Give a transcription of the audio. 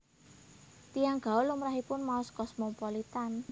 Tiyang gaul lumrahipun maos Cosmopolitan